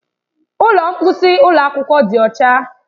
Ụlọ mposi ụlọ akwụkwọ dị ọcha.